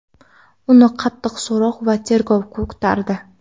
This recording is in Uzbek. Uni qattiq so‘roq va tergov kutardi.